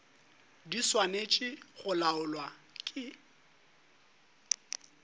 di swanetše go laolwa ke